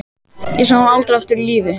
Ég sá hann aldrei aftur á lífi.